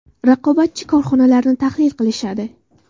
Raqobatchi korxonalarni tahlil qilishadi.